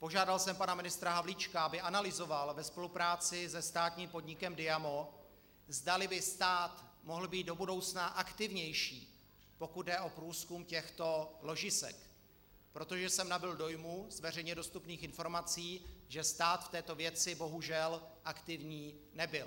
Požádal jsem pana ministra Havlíčka, aby analyzoval ve spolupráci se státním podnikem Diamo, zdali by stát mohl být do budoucna aktivnější, pokud jde o průzkum těchto ložisek, protože jsem nabyl dojmu z veřejně dostupných informací, že stát v této věci bohužel aktivní nebyl.